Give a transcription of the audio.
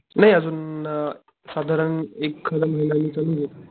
नाही अजून आ, साधारण एकाद महिन्याने चालू होईल.